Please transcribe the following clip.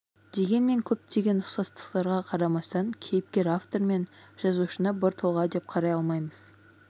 дегенмен көптеген ұқсастықтарға қарамастан кейіпкер-автор мен жазушыны бір тұлға деп қарай алмаймыз